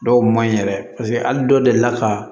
Dɔw maɲi yɛrɛ paseke hali dɔw delila ka